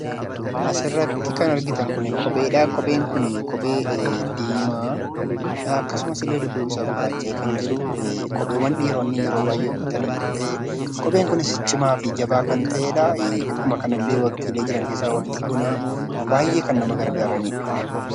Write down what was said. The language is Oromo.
Asirratti kan argitan kuni kophee dhaa. Kopheen kunii kophee diimaa dhaa. Akkasumas illee dudduubi isaa gurraacha'ee kan jiru kopheewwan dhiironni yeroo baay'ee uffatanii dha. Kopheen kunis cimaa fi jabaa kan ta'ee dhaa. Akkuma kanallee waqtiilee jiran keessaa waqtii bonaa baay'ee kan nama gargaaranii dha.